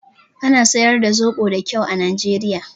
Ana siyar da zoɓo da kyau a Nijeriya